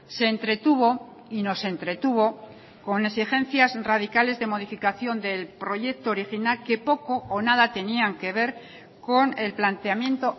se entretuvo y nos entretuvo con exigencias radicales de modificación del proyecto original que poco o nada tenían que ver con el planteamiento